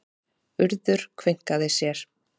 Urður kveinkaði sér.